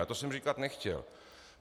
Ale to jsem říkat nechtěl.